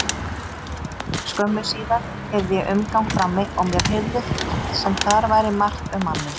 Skömmu síðar heyrði ég umgang frammi og mér heyrðist sem þar væri margt um manninn.